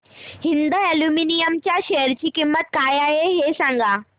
Hind aluminium च्या share ची किंमत काय आहे हे सांगा